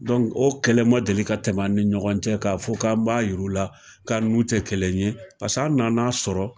Dɔnku o kɛlɛ ma deli ka tɛmɛ an ni ɲɔgɔn cɛ k'a fɔ k'an ba jira u la k'an n'u tɛ kelen ye paseke an nan'a sɔrɔ.